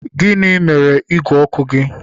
Gịnị mere ígwè ọkụ gị?